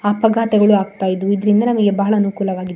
ಅಪಘಾತಗಳು ಆಗ್ತಾ ಇದ್ದು. ಇದ್ರಿಂದ ನಮಗೆ ಬಹಳ ಅನುಕೂಲವಾಗಿ --